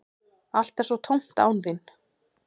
Allt er svo tómt án þín.